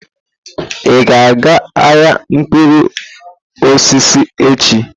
Ị ga-aga ahịa mkpụrụ osisi echi?